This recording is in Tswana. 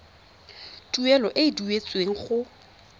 tuelo e e duetsweng go